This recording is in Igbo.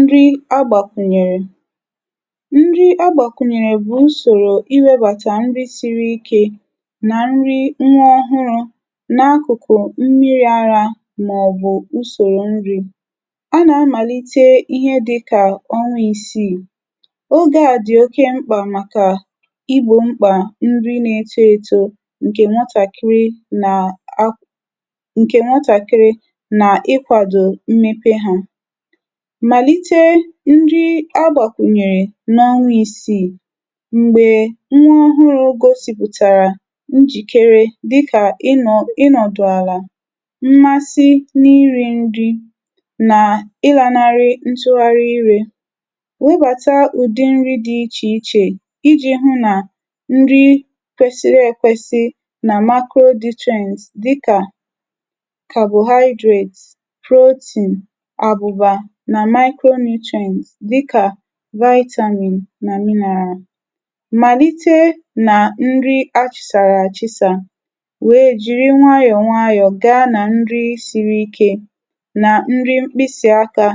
Nrị agbàkwùnyèrè: nrị agbàkwùnyèrè bụ̀ usòrò iwėbàtà nrị siri ikė nà nrị nwa ọhụrụ̇ n’akụ̀kụ̀ mmiri̇ arȧ màọ̀bụ̀ usòrò nrị̇. A nà-amàlite ihe dị kà ọnwȧ isiì ogė a dị̀ oke mkpà màkà igbò mkpà nrị n’eto ėto ǹkè nwatàkịrị nà akwụ ǹkè nwatàkịrị nà ịkwàdò mmepe hȧ. Màlite nri agbàkùnyèrè n’ọnwȧ isi̇ m̀gbè nwee ohuru̇ gosìpụ̀tàrà njìkere dịkà ịnọ̀ ịnọ̀dụ̀ àlà mmasị nà iri̇ nri nà ịlànarị ntụgharị irė. Webàta ụ̀dị nri dị ichè ichè iji̇ hụ nà nri kwesiri èkwesị nà macronutrients carbohydrate, protein abuba nà micronutrients dịkà vitamin nà mineral. Màlite nà nri achị̀sàrà àchị̀sà nwèe jiri nwayọ̀ nwayọ̀ gaa nà nri siri ike nà nri mkpịsị aka